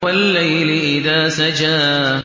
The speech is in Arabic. وَاللَّيْلِ إِذَا سَجَىٰ